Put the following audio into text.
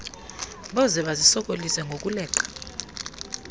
boze bazisokolise ngokuleqa